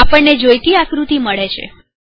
હવે આપણને જોઈતી આકૃતિ આપણી પાસે છે